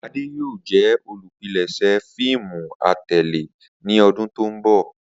Ade yoo jẹ olupilẹṣẹ fiimu atẹle ni ọdun to nbọ.